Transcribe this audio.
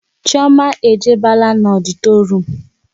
Chioma e jebela n'ọditorium